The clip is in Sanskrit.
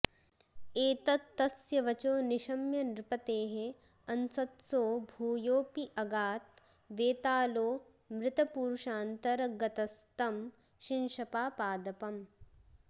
एतत्तस्य वचो निशम्य नृपतेः अंसत्सो भूयोऽपि अगात् वेतालो मृतपूरुषान्तरगतस्तं शिंशपापादपम्